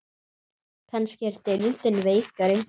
Kannski er deildin veikari?